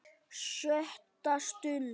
SJÖTTA STUND